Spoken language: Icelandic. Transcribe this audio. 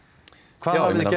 hvað hafiði gert